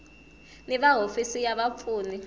ni va hofisi ya vapfuni